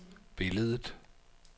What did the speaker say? billedet